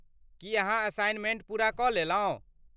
की अहाँ असाइनमेंट पूरा कऽ लेलहुँ ?